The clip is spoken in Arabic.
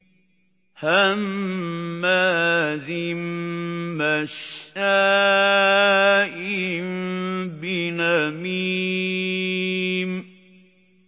هَمَّازٍ مَّشَّاءٍ بِنَمِيمٍ